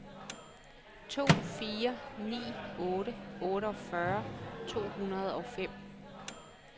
to fire ni otte otteogfyrre to hundrede og fem